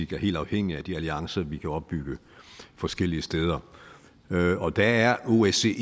helt afhængig af de alliancer vi kan opbygge forskellige steder og der er osce